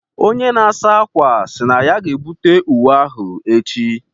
Onye na-asa ákwà sị na ya ga-ebute uwe ahụ echi.